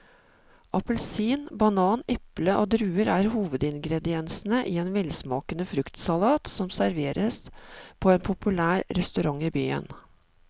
Appelsin, banan, eple og druer er hovedingredienser i en velsmakende fruktsalat som serveres på en populær restaurant i byen.